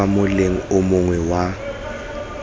kwa moleng o mongwe wa